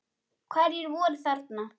Hverjir voru þarna?